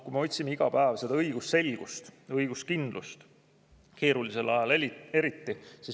Me otsime iga päev õigusselgust, õiguskindlust, eriti keerulisel ajal eriti.